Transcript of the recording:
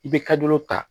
I bɛ ta